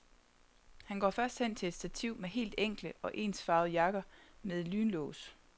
Han går først hen til et stativ med helt enkle og ensfarvede jakker med lynlås.